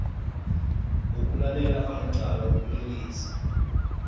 wokulalela amacala wobulelesi